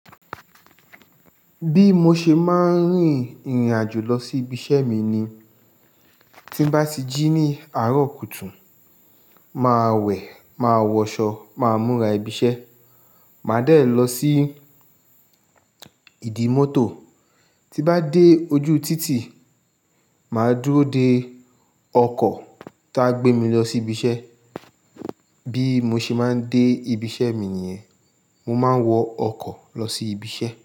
Bí mo ṣe máa ń rìnrìn àjò lọ sí ibi iṣẹ́ mi ni tí bá ti jí ní àárọ̀ kùtù, màá wẹ̀, màá wọṣọ, màá múra ibi iṣẹ́, màá dẹ̀ lọ sí ìdi mọ́tò. Ti bá dé ojú títì, màá dúró de ọkọ̀ tá gbé mi lọ sí ibi iṣẹ́. Bí mo ṣe máa ń dé ibi iṣẹ́ mi nìyẹn, mo máa ń wọ ọkọ̀ lọ sí ibi iṣẹ́.